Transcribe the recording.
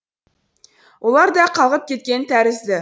олар да қалғып кеткен тәрізді